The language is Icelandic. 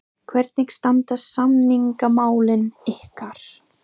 Hvernig standa samningamálin ykkar?